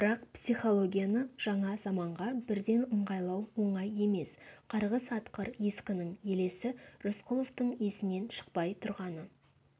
бірақ психологияны жаңа заманға бірден ыңғайлау оңай емес қарғыс атқыр ескінің елесі рысқұловтың есінен шықпай тұрғаны